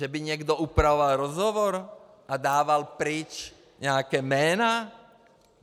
Že by někdo upravoval rozhovor a dával pryč nějaká jména?